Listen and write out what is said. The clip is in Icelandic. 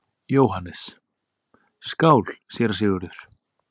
JÓHANNES: Skál, séra Sigurður!